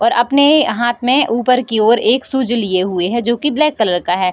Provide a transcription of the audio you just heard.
और अपने हाथ में ऊपर की ओर एक शूज लिए हुए है जो की ब्लैक कलर का है।